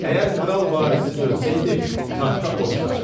Əgər kral varissiz ölsəydi, taxta o çıxacaqdı.